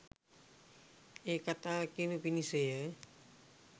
ඒ කතාව කියනු පිණිසය.